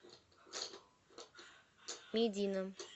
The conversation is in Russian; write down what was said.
медина